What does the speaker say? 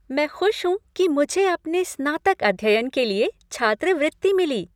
मैं खुश हूँ कि मुझे अपने स्नातक अध्ययन के लिए छात्रवृत्ति मिली।